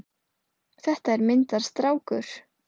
Þetta er myndarstrákur!